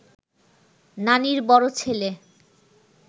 নানির বড় ছেলে